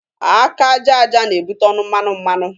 Aka aja aja na-ebute ọnụ mmanụ mmanụ.